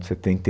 Setenta e